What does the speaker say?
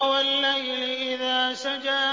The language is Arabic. وَاللَّيْلِ إِذَا سَجَىٰ